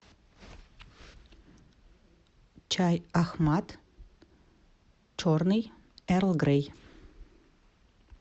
чай ахмад черный эрл грей